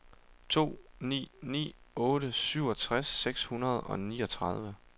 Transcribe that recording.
to ni ni otte syvogtres seks hundrede og niogtredive